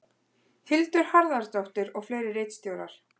Hildur Harðardóttir og fleiri ritstjórar.